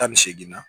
Tan ni seeginna